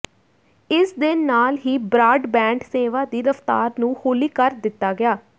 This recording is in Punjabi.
ਇਸ ਦੇ ਨਾਲ ਹੀ ਬ੍ਰਾਡਬੈਂਡ ਸੇਵਾ ਦੀ ਰਫ਼ਤਾਰ ਨੂੰ ਹੌਲੀ ਕਰ ਦਿੱਤਾ ਗਿਆ